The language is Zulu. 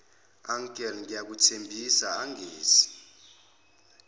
uncle ngiyakuthembisa angenzi